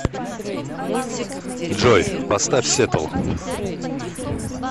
джой поставь сеттл